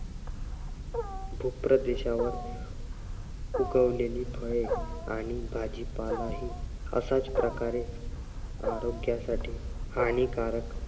भूप्रदेशावर उगवलेली फळे आणि भाजीपालाही अशाच प्रकारे आरोग्यासाठी हानिकारक